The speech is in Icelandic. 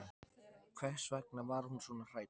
Hvers vegna var hún svona hrædd?